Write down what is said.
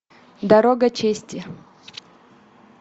дорога чести